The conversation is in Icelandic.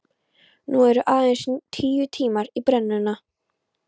Nú eru aðeins tíu tímar í brennuna.